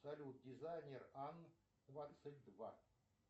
салют дизайнер ан двадцать два